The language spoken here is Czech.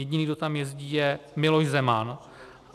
Jediný, kdo tam jezdí, je Miloš Zeman.